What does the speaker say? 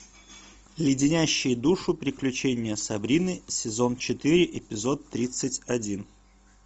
леденящие душу приключения сабрины сезон четыре эпизод тридцать один